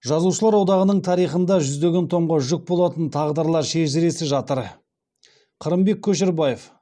жазушылар одағының тарихында жүздеген томға жүк болатын тағдырлар шежіресі жатыр қырымбек көшербаев